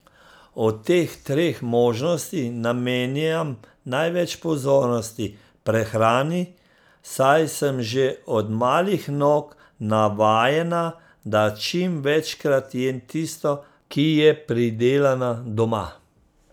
Od teh treh možnosti namenjam največ pozornosti prehrani, saj sem že od malih nog navajena, da čim večkrat jem tisto, ki je pridelana doma.